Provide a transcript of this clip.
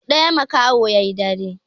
Duk ɗaya makaho yayi dare